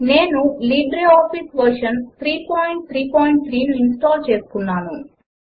నేను LibreOffice version 333 ను install చేసుకున్నాను